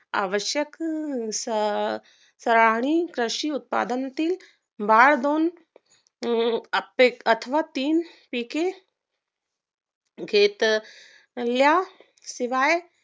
आवश्यक स सराहणी उत्पादन उत्पादनातील वाढ होऊन अथवा तीन पिके घेतल्या शिवाय